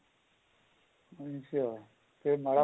ਅੱਛਾ ਜੇ ਮਾੜਾ